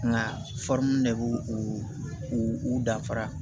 Nka de b'u u u danfara